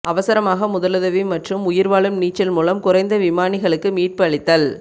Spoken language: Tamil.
அவசரமாக முதலுதவி மற்றும் உயிர்வாழும் நீச்சல் மூலம் குறைந்த விமானிகளுக்கு மீட்பு அளித்தல்